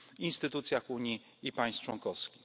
we wszystkich instytucjach Unii i państw członkowskich.